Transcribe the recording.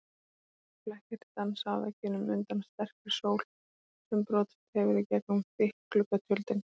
Ljósir flekkir dansa á veggjunum undan sterkri sól sem brotist hefur í gegnum þykk gluggatjöldin.